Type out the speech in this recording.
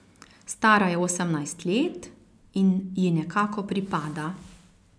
Stara je osemnajst let in ji nekako pripada.